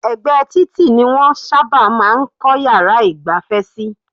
Ẹ̀gbẹ́ títì ni wọ́n sábà máa ń kọ́ yàrá ìgbafẹ́ sí.